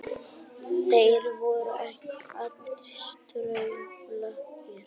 Þeir voru ekki allir staurblankir